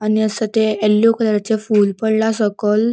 आणि असा ते येल्लो कलराचे फूल पडला सोकल.